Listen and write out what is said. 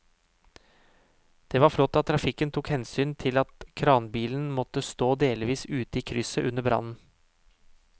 Det var flott at trafikken tok hensyn til at kranbilen måtte stå delvis ute i krysset under brannen.